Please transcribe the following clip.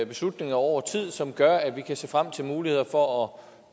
beslutninger over tid og som gør at vi kan se frem til muligheder for